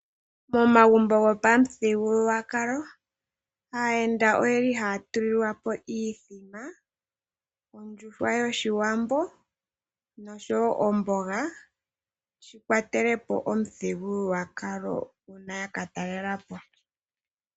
Momagumbo gopamuthigululwakalo aayenda oyeli haya tulilwapo iithima, ondjuhwa yoshiwambo nosho woo omboga yikwatelepo omuthigululwakalo uuna yaka talelapo.